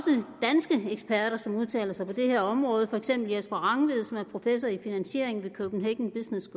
danske eksperter som udtaler sig på det her område for eksempel jesper rangvid som er professor i finansiering ved copenhagen business